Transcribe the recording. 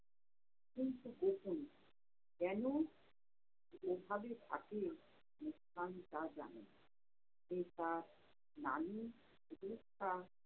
কেনো এভাবে থাকে মুসকান তা জানে না। পিতা শুভেচ্ছা